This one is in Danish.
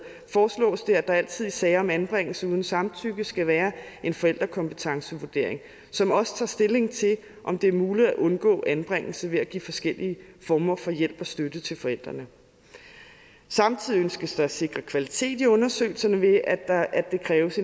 foreslås det at der altid i sager om anbringelse uden samtykke skal være en forældrekompetencevurdering som også tager stilling til om det er muligt at undgå anbringelse ved at give forskellige former for hjælp og støtte til forældrene samtidig ønskes det at sikre kvalitet i undersøgelserne ved at det kræves